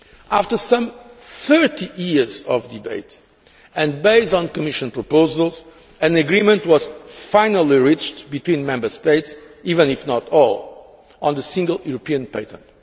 After some 30 years of debate, and based on Commission proposals, an agreement was finally reached between Member States even if not all on the Single European Patent.